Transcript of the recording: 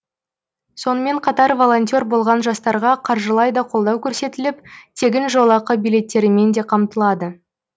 сонымен қатар волонтер болған жастарға қаржылай да қолдау көрсетіліп тегін жолақы билеттерімен де қамтылады